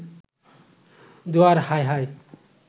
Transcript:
দোহার, হায় হায়